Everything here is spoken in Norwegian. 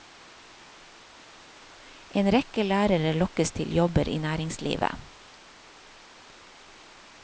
En rekke lærere lokkes til jobber i næringslivet.